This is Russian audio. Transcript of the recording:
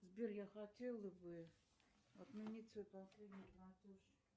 сбер я хотела бы отменить свой последний платеж